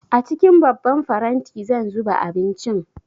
A cikin babban faranti zan zuba abincin